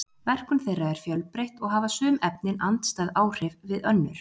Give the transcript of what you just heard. Verkun þeirra er fjölbreytt og hafa sum efnin andstæð áhrif við önnur.